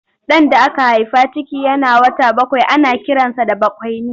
Ɗan da aka haifa ciki yana wata bakwai ana kiransa da bakwaini.